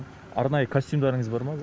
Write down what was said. арнайы костюмдарыңыз бар ма